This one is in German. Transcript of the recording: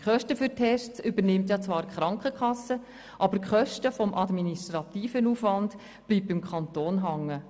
Die Kosten für die Tests übernimmt zwar die Krankenkasse, aber die Kosten des administrativen Aufwands bleiben beim Kanton hängen.